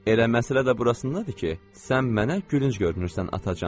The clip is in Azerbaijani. Elə məsələ də burasındadır ki, sən mənə gülünc görünürsən atacan.